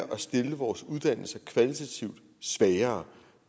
at stille vores uddannelser kvalitativt svagere